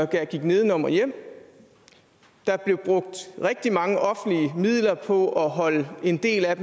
der gik nedenom og hjem der blev brugt rigtig mange offentlige midler på at holde en del af